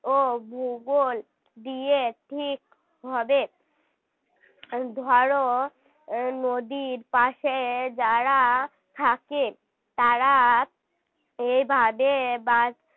ও ভূগোল দিয়ে ঠিক হবে ধরো নদীর পাশে যাঁরা থাকে তাঁরা এভাবে .